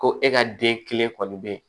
Ko e ka den kelen kɔni bɛ